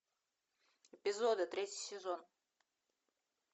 эпизоды третий сезон